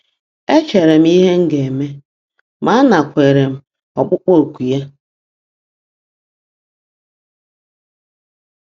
E chere m ihe m ga-eme, ma anakweere m ọkpụkpọ oku ya.